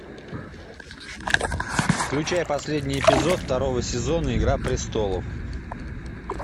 включай последний эпизод второго сезона игра престолов